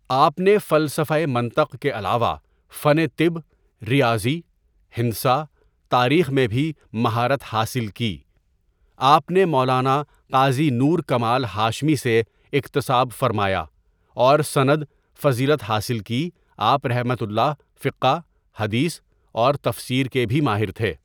آپ نے فلسفہ منطق کے علاوہ فن طب، ریاضی، ہندسہ، تاریخ میں بھی مہارت حاصل کی آپ نے مولانا قاضی نور کمال ہاشمی سے اکتساب فرماہا اور سند فضیلت حاصل کی آپؒ فقہ، حدیث اور تفسیر کے بھی ماہر تھے.